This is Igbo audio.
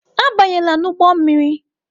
Abanyela n'ụgbọ mmiri!